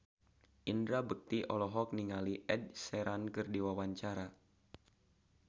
Indra Bekti olohok ningali Ed Sheeran keur diwawancara